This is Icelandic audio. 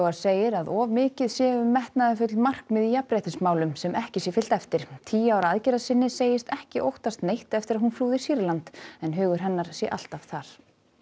segir að of mikið sé um metnaðarfull markmið í jafnréttismálum sem ekki sé fylgt eftir tíu ára aðgerðarsinni segist ekki óttast neitt eftir að hún flúði Sýrland en hugur hennar sé alltaf þar